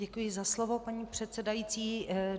Děkuji za slovo, paní předsedající.